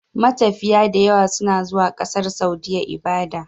Matafiya dayawa suna zuwa ƙasar saudiya ibada